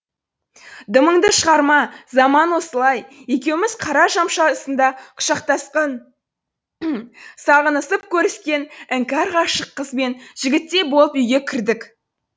дымыңды шығарма заман осылай екеуміз қара жамшы астында құшақтасқан сағынысып көріскен іңкәр ғашық қыз бен жігіттей болып үйге кірдік